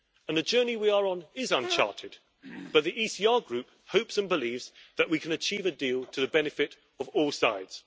The journey we are on is uncharted, but the ECR Group hopes and believes that we can achieve a deal to the benefit of all sides.